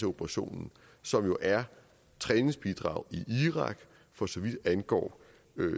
operationen som jo er træningsbidrag i irak for så vidt angår